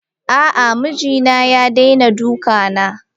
A'a mijina ya daina dukana.